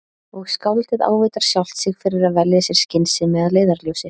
Og skáldið ávítar sjálft sig fyrir að velja sér skynsemi að leiðarljósi.